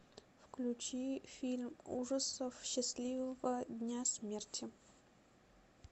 включи фильм ужасов счастливого дня смерти